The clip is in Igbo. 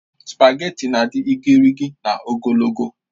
Spageti na-adị gịrịgịrị na ogologo